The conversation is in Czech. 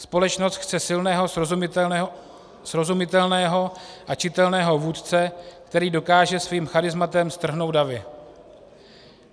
Společnost chce silného, srozumitelného a čitelného vůdce, který dokáže svým charizmatem strhnout davy.